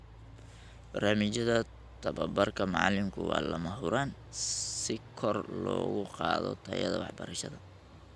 Barnaamijyada tababarka macalinku waa lama huraan si kor loogu qaado tayada waxbarashada.